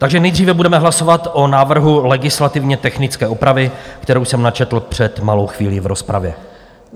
Takže nejdříve budeme hlasovat o návrhu legislativně technické opravy, kterou jsem načetl před malou chvílí v rozpravě.